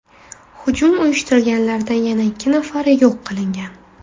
Hujum uyushtirganlardan yana ikki nafari yo‘q qilingan.